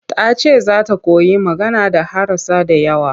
Ta ce za ta koyi magana da harasa da yawa.